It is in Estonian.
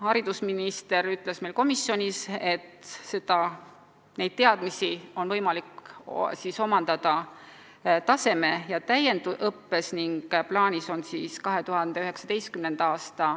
Haridusminister ütles meil komisjonis, et neid teadmisi on võimalik omandada taseme- ja täiendusõppes ning plaanis on 2019. aasta